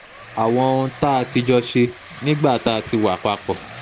àwọn ohun tá um a ti jọ ṣe nígbà um tá a ti wà papọ̀